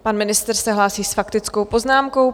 Pan ministr se hlásí s faktickou poznámkou.